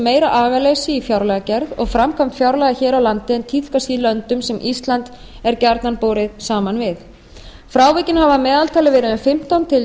meira agaleysi í fjárlagagerð og framkvæmd fjárlaga hér á landi en tíðkast í löndum sem ísland er gjarnan borið saman við frávikin hafa að meðaltali verið um fimmtán til